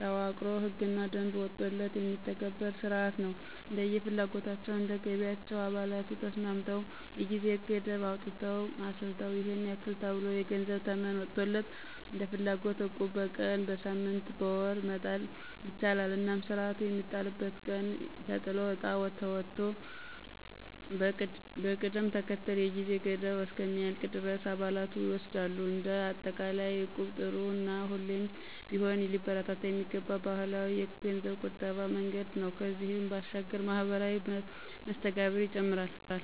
ተዋቅሮ ህግና ደንብ ወጥቶለት የሚተገብር ስርዓት ነው። እንደየ ፍላጎታቸው፣ እንደ ገቢያቸው አባላቱ ተስማምተው የጊዜ ገደብ አውጥተው አስልተው ይሔን ያክል ተብሎ የገንዘብ ተመን ወጥቶለት እንደፍላጎት እቁብ በቀን፣ በሳምንት፣ በወር መጣል ይቻላል። እናም ስርዓቱ የሚጣልበት ቀን ተጥሎ እጣ ተመቶ በቅደም ተከተል የጊዜ ገደቡ እስከሚያልቅ ድረስ አባላቱ ይወስዳሉ። እንደ አጠቃላይ እቁብ ጥሩ እና ሁሌም ቢሆን ሊበረታታ የሚገባው ባህላዊ የገንዘብ ቁጠባ መንገድ ነው። ከዚህም ባሻገር ማህበራዊ መስተጋብርን ይጨምራል።